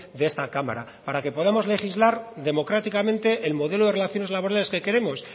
de esta cámara para que podamos legislar democráticamente el modelo de relaciones laborales que queremos